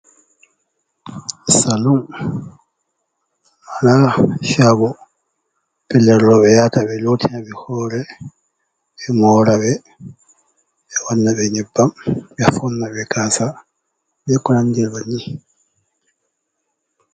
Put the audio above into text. Saloon shago pellel rooɓe be yahata, be lottina ɓe hore, ɓe mora ɓe, wanna ɓe nyebam, ɓe foɗina ɓe gasa, be ko nandi be bannin.